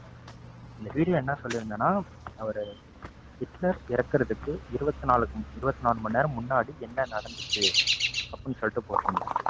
இந்த video ல என்ன சொல்லியிருந்தேன்னா அவரு ஹிட்லர் இறக்குறதுக்கு இருபத்தி நாலு இருபத்தி நாலு மணி நேரம் முன்னாடி என்ன நடந்துச்சு அப்படின்னு சொல்லிட்டு போட்டுருந்தேன்.